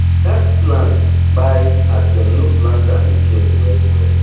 dat plant pai as dem no plant am again well well